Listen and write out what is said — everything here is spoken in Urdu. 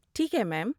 ٹھیک ہے میم۔